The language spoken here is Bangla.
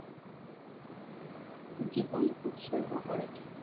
জীবন উৎসর্গ করেছেন